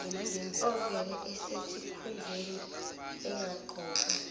ovele esesikhundleni engaqokwa